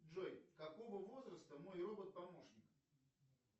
джой какого возраста мой робот помощник